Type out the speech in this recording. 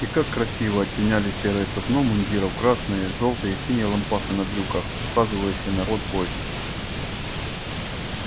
и как красиво оттеняли серое сукно мундиров красные жёлтые и синие лампасы на брюках указывающие на род войск